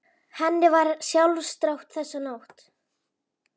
Henni var ekki sjálfrátt þessa nótt.